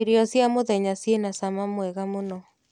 Irio cia mũthenya cina mũcamo mwega mũno.